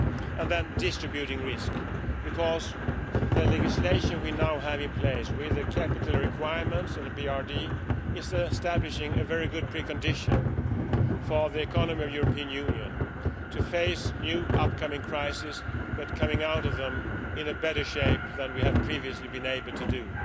And then we come to distributing risk, because the legislation we now have in place with capital requirements and a BRRD establishes a very good precondition for the economy of the European Union to face new upcoming crises and come out of them in better shape than we have previously been able to do.